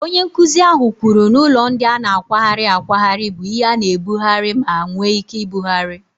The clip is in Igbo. Onye nkuzi ahụ kwuru na ụlọ ndị a na-akwagharị akwagharị bụ ihe a na-ebugharị ma nwee ike ibugharị.